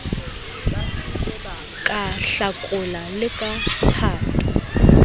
ka hlakola le ka phato